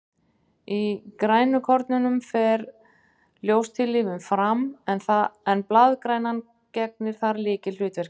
Í grænukornunum fer ljóstillífun fram, en blaðgrænan gegnir þar lykilhlutverki.